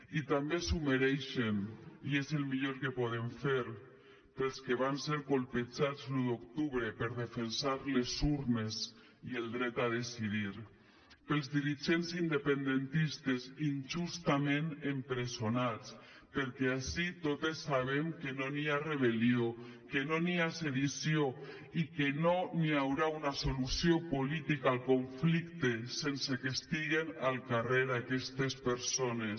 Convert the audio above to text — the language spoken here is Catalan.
i també s’ho mereixen i és el millor que podem fer per als que van ser colpejats l’un d’octubre per defensar les urnes i el dret a decidir per als dirigents independentistes injustament empresonats perquè ací totes sabem que no hi ha rebellió que no hi ha sedició i que no hi haurà una solució política al conflicte sense que estiguen al carrer aquestes persones